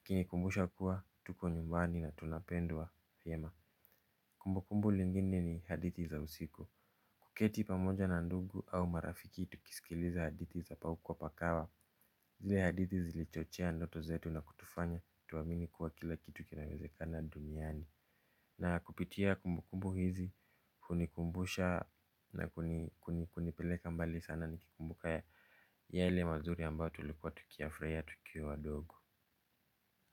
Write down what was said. ikinikumbusha kuwa, tuko nyumbani na tunapendwa vyema. Kumbukumbu lingine ni hadithi za usiku, kuketi pamoja na ndugu au marafiki tukisikiliza hadithi za paukwa pakawa. Zile hadithi zilichochea ndoto zetu na kutufanya tuamini kuwa kila kitu kinawezekana duniani. Na kupitia kumbukumbu hizi hunikumbusha na kunipeleka mbali sana nikikumbuka yale mazuri ambayo tulikuwa tukiyafurahia tukiwa wadogo.